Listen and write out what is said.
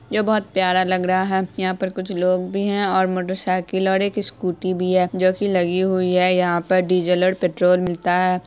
यह बहुत प्यारा लग रहा है। यहाँ पर कुछ लोग भी हैं और मोटर साइकिल और एक स्कूटी भी है जो कि लगी हुई है। यहाँ पर डीजल और पेट्रोल मिलता है।